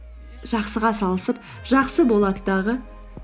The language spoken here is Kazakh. жақсыға салысып жақсы болады дағы